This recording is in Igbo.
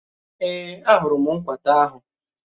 Èé, a hụrụ m nkwata ahụ.